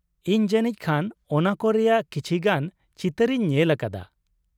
ᱤᱧ ᱡᱟᱱᱤᱡ ᱠᱷᱟᱱ ᱚᱱᱟ ᱠᱚ ᱨᱮᱭᱟᱜ ᱠᱟᱤᱪᱷᱤ ᱜᱟᱱ ᱪᱤᱛᱟᱹᱨ ᱤᱧ ᱧᱮᱞ ᱟᱠᱟᱫᱟ ᱾